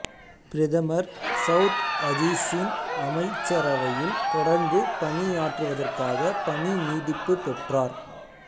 பிரதமர் சௌத் அஜீஸின் அமைச்சரவையில் தொடர்ந்து பணியாற்றுவதற்காக பணி நீட்டிப்பு பெற்றார்